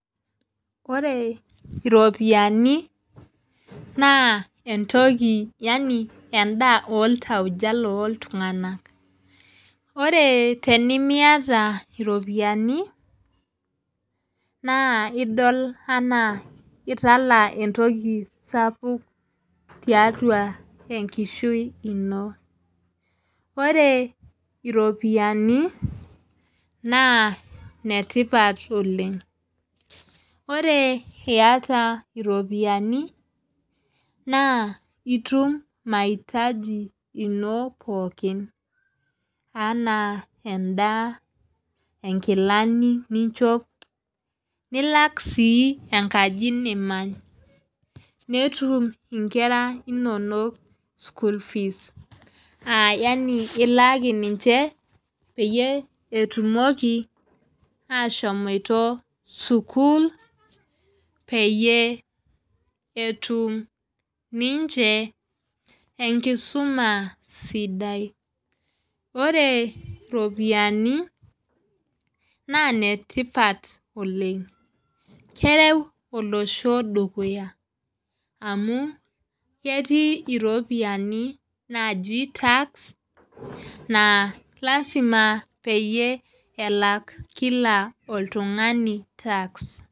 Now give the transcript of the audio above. Ore iropiyiani naa entoki Yani edaa oltauja looltunganak. ore tenimiata iropiyiani naa idol anaa itala entoki sapuk tiatau e nkishui ino. ore iropiyiani naa ine tipat oleng. ore iyata iropiyiani, naa itum maitaji ino pookin anaa edaa, inkilani ninchop, nilak sii enkaji nimany. netum nkera inonok school fees Yani ilaaki ninche peyie etumoki aashomoito sukuul peyie etum. Ninche enkisuma sidai. ore iropiyiani naa ine tipat oleng. kereu olosho dukuya. amu ketii iropiyiani naaji tax naa lasima peyie elak Kila oltungani tax.